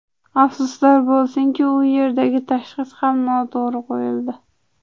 Afsuslar bo‘lsinki, u yerdagi tashxis ham noto‘g‘ri qo‘yildi.